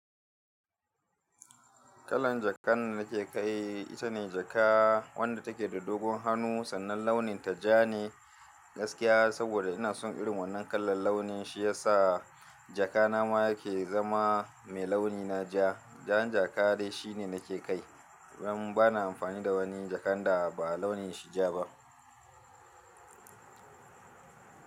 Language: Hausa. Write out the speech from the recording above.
Kallon jakan da nake kai ita ne jaka wadda take da dogon hannu sannan launin ta ja ne gaskiya saboda ina son irin wannan kalan launi, shi ya sa jaka na ma yake zama mai launi na ja. Jan jaka dai shi ne nake kai dan baa amfani da wani jakan da ba launin shi ja ba.